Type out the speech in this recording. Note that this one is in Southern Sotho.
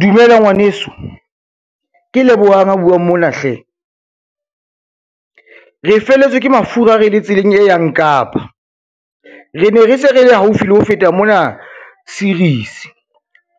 Dumela ngwaneso, ke Lebohang a buang mona hle. Re felletswe ke mafura, re le tseleng e yang Kapa. Re ne re se re le haufi le ho feta mona series